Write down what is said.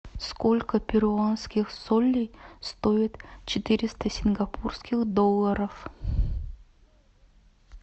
сколько перуанских солей стоит четыреста сингапурских долларов